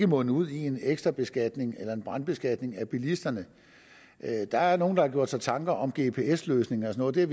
munde ud i en ekstra beskatning eller brandskatning af bilisterne der er nogle der gør sig tanker om en gps løsning og sådan